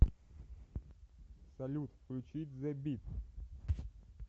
салют включить зе бит